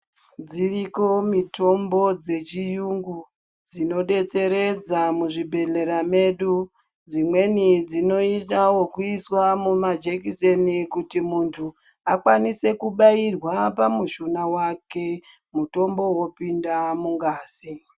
Dziroko mitombo dzechiyungu dzinobetseredza muzvibhedhlera medu. Dzimweni dzinota vekuiswa mumajekiseni kuti muntu akwanise kubairwa pamushuna vake mutombo vopinda mungazi.